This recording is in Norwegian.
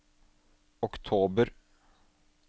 oktober